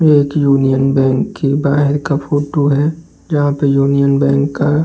ये एक union bank के बाहर का फोटो है जहां पर यूनियन बैंक का --